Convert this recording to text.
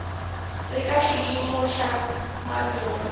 ri ka xiyimo xa madyondza